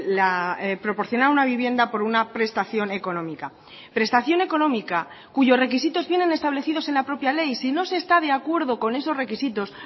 la proporcionar una vivienda por una prestación económica prestación económica cuyos requisitos vienen establecidos en la propia ley si no se está de acuerdo con esos requisitos